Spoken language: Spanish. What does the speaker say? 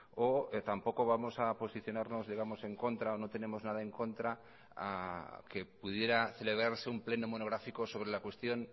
o tampoco vamos a posicionarnos digamos en contra o no tenemos nada en contra que pudiera celebrarse un pleno monográfico sobre la cuestión